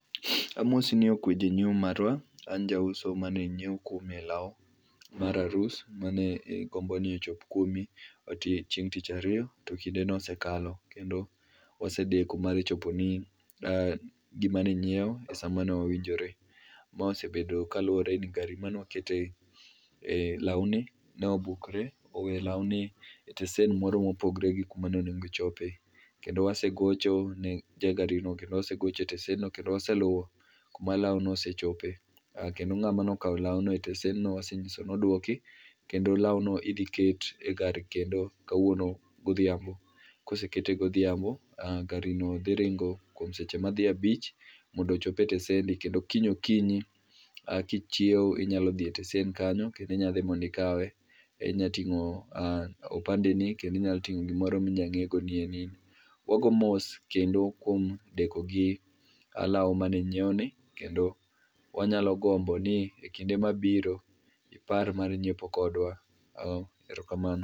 Amosi ni okwe jang'iewo marwa, an jauso mane nyiew kuomi lao mar arus mane igomboni ochop kuomi chieng' tich ariyo to kindeno osekalo kendo osedeko mar choponi gimane inyiew e sa mane wawinjore. Mae osebedo kaluore ni gari mane wakete, eeh lawni ne obukre oweo lawni e tesend moro mopogore gi kaka ne owinjo ochope kendo wasegochone ja gari no kendo osegoch e tesend no kendo waseluo kama lao no osechope, kendo ng'ama nokao laono e tesend no wasenyiso ni oduki kendo lao no idhi ket e gari kendo kawuono godhiambo, kosekete godhiambo garino dhi ringo kuom seche madhi abich mondo ochop e tesendi kendo kiny okinyi kichiew inyalo dhi e tesend kanyo kendo inyalo dhi mondo ikawe. Inyalo tingo kipande ni kendo inya tingo gimoro minya nge ni en in. Wago mos kendo kuom deko gi lao mane inyiew ni kendo wanyalo gombo ni e kinde mabiro ipar mar nyiepo kodwa, erokamano